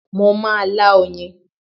Mo má a lá oyin